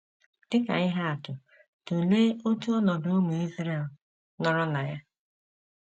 Dị ka ihe atụ, tụlee otu ọnọdụ ụmụ Israel nọrọ na ya.